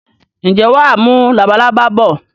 Ǹjẹ́ wàá mú labalábá bọ̀?